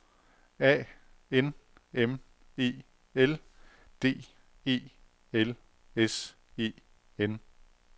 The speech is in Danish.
A N M E L D E L S E N